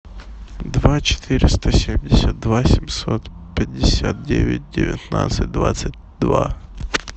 два четыреста семьдесят два семьсот пятьдесят девять девятнадцать двадцать два